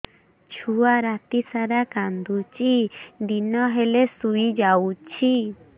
ଛୁଆ ରାତି ସାରା କାନ୍ଦୁଚି ଦିନ ହେଲେ ଶୁଇଯାଉଛି